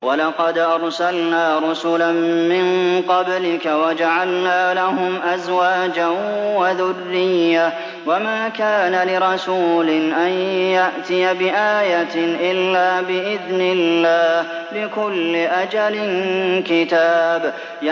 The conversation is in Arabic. وَلَقَدْ أَرْسَلْنَا رُسُلًا مِّن قَبْلِكَ وَجَعَلْنَا لَهُمْ أَزْوَاجًا وَذُرِّيَّةً ۚ وَمَا كَانَ لِرَسُولٍ أَن يَأْتِيَ بِآيَةٍ إِلَّا بِإِذْنِ اللَّهِ ۗ لِكُلِّ أَجَلٍ كِتَابٌ